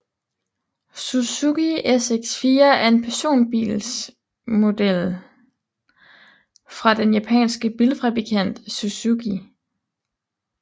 Suzuki SX4 er en personbilsmodel fra den japanske bilfabrikant Suzuki